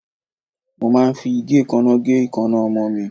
Mo máa ń fi igekana gé ikanna ọmọ mi.